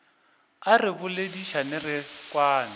a re boledišane re kwane